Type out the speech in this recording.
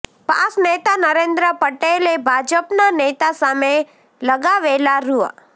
pass નેતા નરેન્દ્ર પટેલે ભાજપના નેતા સામે લગાવેલા રૂ